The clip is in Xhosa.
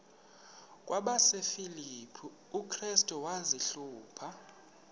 kwabasefilipi restu wazihluba